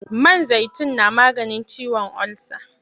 Man zaitun na maganin ciwon ulsa.